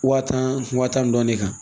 Waa tan wa tan ni dɔɔnin kan